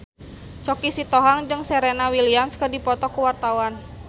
Choky Sitohang jeung Serena Williams keur dipoto ku wartawan